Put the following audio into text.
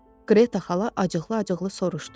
Qreta xala acıqlı-acıqlı soruşdu.